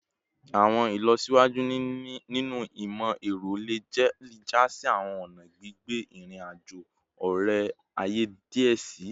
Awọn ilọsiwaju ninu imọ-ẹrọ le ja si awọn ọna gbigbe irin-ajo ore-aye diẹ sii